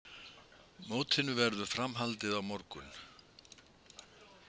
Mótinu verður framhaldið á morgun